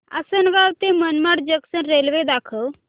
आसंनगाव ते Manmad junction railway दाखव